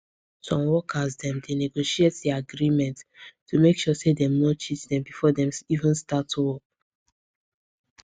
some workers dem dey negotiate dia agreements to make sure say dem no cheat dem before dem even start work